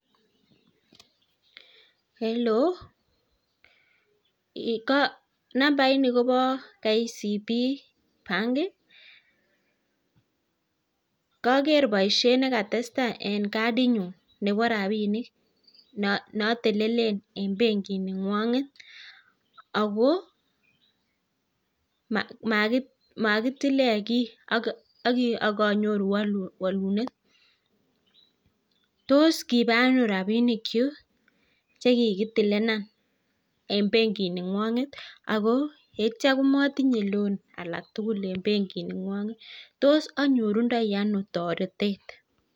Hello ee ko nambaini kopo kcb bank ii koker boishet netestai en katinyun nebo rabinik notelelen en bankiningwonget ako makitilen kit akonyor walunet tos kibaa ano rabinik chuk chekikitilenan en bankini ngwongget ako akityo komotinye loan alatukul en bankiningwonget tos anyorutoi ano taretet.